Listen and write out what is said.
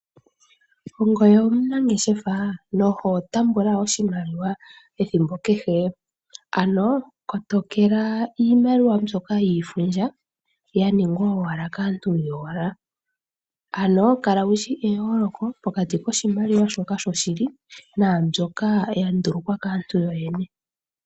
Ongoye omunangeshefa noho tambula oshimaliwa ethimbo kehe? Ano kotokela iimaliwa mbyoka yiifundja yaningwa owala kaantu yowala , ano kala wushi eyooloko pokati kiimaliwa sho shili nambyoka kandulukwa kaantu yoyene.